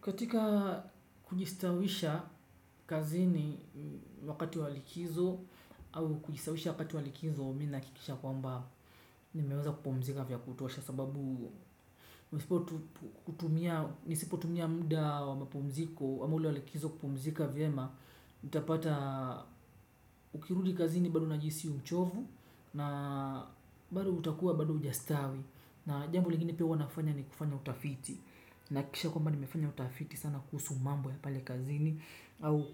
Katika kujistawisha kazini wakati wa likizo au kujistawisha wakati wa likizo mi nahakikisha kwamba nimeweza kupumzika vya kutosha sababu nisipo tumia muda wa mapumziko ama ule wa likizo kupumzika vyema nitapata ukirudi kazini bado unajihisi uchovu na bado utakuwa bado hujastawi. Na jambo lingine pia huwa nafanya ni kufanya utafiti nahakikisha kwamba nimefanya utafiti sana kuhusu mambo ya pale kazini au